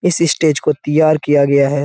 इस स्टेज को तैयार किया गया है।